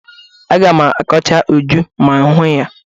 Aga m akọcha Uju ma m hụ ya.